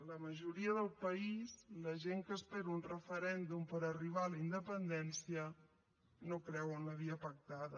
la majoria del país i la gent que espera un referèndum per arribar a la independència no creu en la via pactada